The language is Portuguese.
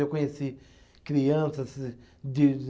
Eu conheci crianças de